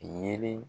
Yeelen